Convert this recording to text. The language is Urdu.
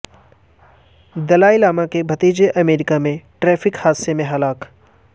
دلائی لاما کے بھتیجے امریکہ میں ٹریفک حادثے میں ہلاک